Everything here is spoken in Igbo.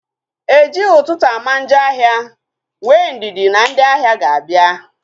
Ejighị ụtụtụ ama njọ ahịa, nwee ndidi na ndị ahịa ga-abịa